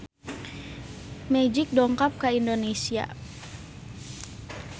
Magic dongkap ka Indonesia